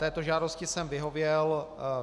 Této žádosti jsem vyhověl.